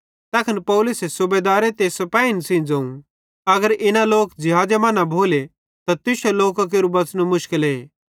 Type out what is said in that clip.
तैखन पौलुसे सूबेदारे ते सिपेहिन सेइं ज़ोवं अगर इना लोक ज़िहाज़े मां न भोले त तुश्शू लोकां केरू बच़नू मुशकले